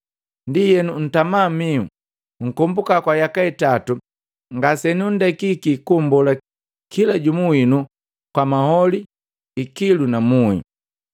Ndienu ntama mihu, nkombuka kwa yaka itatu ngasenundekiki kummbola kila jumu winu kwa maholi ikilu na muhi.